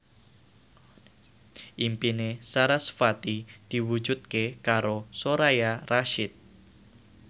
impine sarasvati diwujudke karo Soraya Rasyid